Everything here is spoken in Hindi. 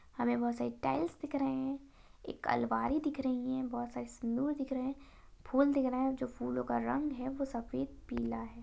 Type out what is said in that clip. हमें बहुत सारी टाइल्स दिख रहे हैं एक अलमारी दिख रही है बहुत सारी सिन्दूर दिख रहे है फूल दिख रहे हैं जो फूलों का रंग है वो सफेद पीला है।